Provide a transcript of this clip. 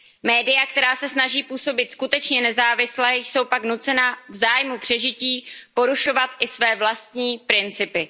Média, která se snaží působit skutečně nezávisle, jsou pak nucena v zájmu přežití porušovat i své vlastní principy.